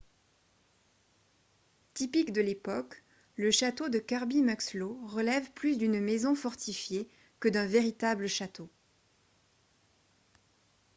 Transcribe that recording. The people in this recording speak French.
typique de l'époque le château de kirby muxloe relève plus d'une maison fortifiée que d'un véritable château